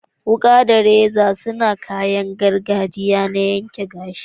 Wukake da reza sune kayan gargajiya na yanke gashi.